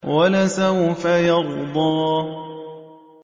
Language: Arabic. وَلَسَوْفَ يَرْضَىٰ